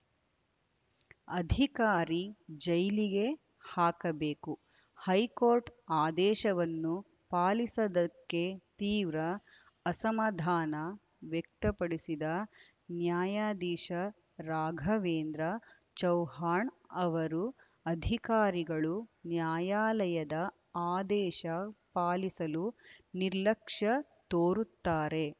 ಅಧಿಕಾರಿ ಜೈಲಿಗೆ ಹಾಕಬೇಕು ಹೈಕೋರ್ಟ್‌ ಆದೇಶವನ್ನು ಪಾಲಿಸದ್ದಕ್ಕೆ ತೀವ್ರ ಅಸಮಾಧಾನ ವ್ಯಕ್ತಪಡಿಸಿದ ನ್ಯಾಯದಿಶಾ ರಾಘವೇಂದ್ರ ಚೌಹಾಣ್‌ ಅವರು ಅಧಿಕಾರಿಗಳು ನ್ಯಾಯಾಲಯದ ಆದೇಶ ಪಾಲಿಸಲು ನಿರ್ಲಕ್ಷ್ಯ ತೋರುತ್ತಾರೆ